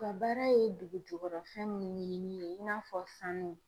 U ka baara ye dugujukɔrɔ fɛn minnu ɲinini ye i n'a fɔ sanu.